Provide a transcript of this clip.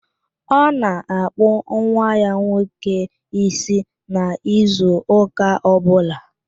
Ọ na-akpụ nwa ya nwoke ísí n'izu ụka ọbụla.